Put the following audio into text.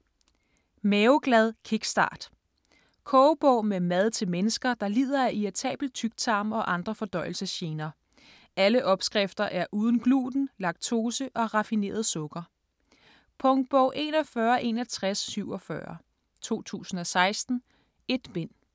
Maveglad kickstart Kogebog med mad til mennesker, der lider af irritabel tyktarm og andre fordøjelsesgener. Alle opskrifter er uden gluten, laktose og raffineret sukker. Punktbog 416147 2016. 1 bind.